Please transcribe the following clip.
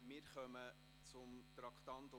Wir kommen zum Traktandum 46.